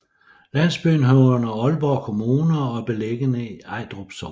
Landsbyen hører under Aalborg Kommune og er beliggende i Ejdrup Sogn